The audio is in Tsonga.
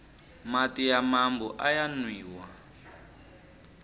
mati ya mambu aya nwiwa